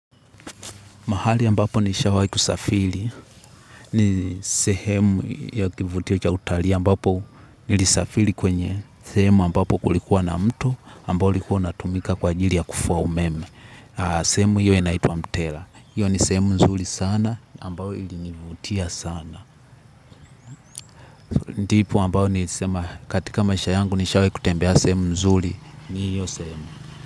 Mahali ambapo nishawahi kusafiri ni sehemu ya kivutio cha utalii ambapo nilisafiri kwenye sehemu ambapo kulikuwa na mto ambao ulikuwa natumika kwaajili ya kufua umeme. Sehemu hiyo inaitu wa mtera. Hiyo ni sehemu nzuri sana ambayo ilinivutia sana. Ndipo ambapo nilisema katika maisha yangu nishawahi kutembea sehemu nzuli ni hiyo sehemu.